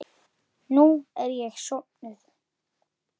Skýin ema staðar á himnum.